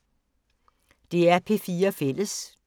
DR P4 Fælles